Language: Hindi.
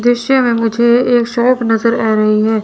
दृश्य में मुझे एक शॉप नजर आ रही है।